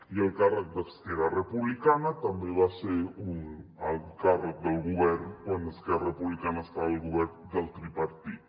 i el càrrec d’esquerra republicana també va ser un alt càrrec del govern quan esquerra republicana estava al govern del tripartit